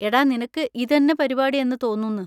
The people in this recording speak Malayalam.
എടാ നിനക്ക് ഇതെന്നെ പരിപാടി എന്ന് തോന്നുന്ന്.